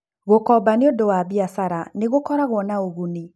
Gũkomba nĩ ũndũ wa biacara nĩ gũkoragũo na ũguni.